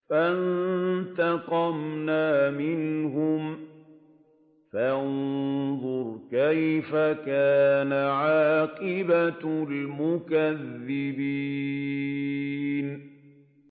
فَانتَقَمْنَا مِنْهُمْ ۖ فَانظُرْ كَيْفَ كَانَ عَاقِبَةُ الْمُكَذِّبِينَ